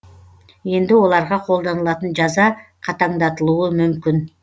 енді оларға қолданылатын жаза қатаңдатылуы мүмкін